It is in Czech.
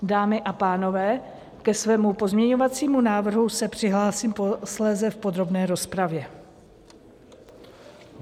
Dámy a pánové, ke svému pozměňovacímu návrhu se přihlásím posléze v podrobné rozpravě.